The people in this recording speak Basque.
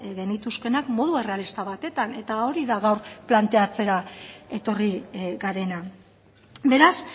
genituzkeenak modu errealista batetan eta hori da gaur planteatzera etorri garena beraz